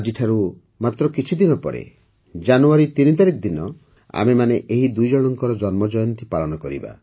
ଆଜିଠାରୁ ମାତ୍ର କିଛିଦିନ ପରେ ଜାନୁୟାରୀ ୩ ତାରିଖ ଦିନ ଆମେମାନେ ଏହି ଦୁଇଜଣଙ୍କର ଜନ୍ମଜୟନ୍ତୀ ପାଳନ କରିବା